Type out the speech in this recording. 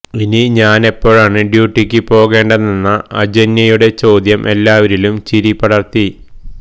ഇനി ഞാനെപ്പഴാണ് ഡ്യൂട്ടിക്ക് പോകേണ്ടതെന്ന അജന്യയുടെ ചോദ്യം എല്ലാവരിലും ചിരി പടർത്തി